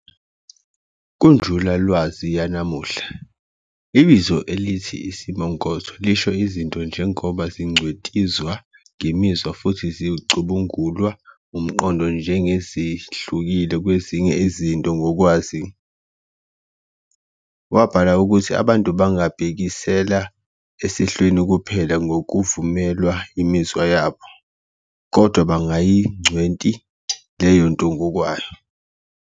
Kunjulalwazi yanamuhla, ibizo elithi isimongotho lisho izinto njengoba zingcwetizwa ngemizwa futhi zicubungulwa umqondo njengezihlukile kwezinye izinto ngokwazo. Wabhala ukuthi abantu bangabhekisela esehlweni kuphela ngokuvumelwa imizwa yabo, kodwa bangayingcweti leyonto ngokwayo.